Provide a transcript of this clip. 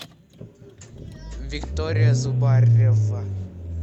виктория зубарева